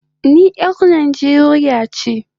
I am a Nigerian